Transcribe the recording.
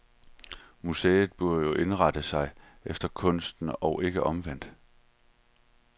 Museet burde jo indrette sig efter kunsten og ikke omvendt.